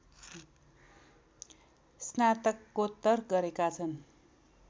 स्नातकोत्तर गरेका छन्